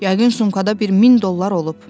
Yəqin sumkada bir min dollar olub.